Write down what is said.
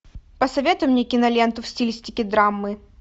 посоветуй мне киноленту в стилистике драмы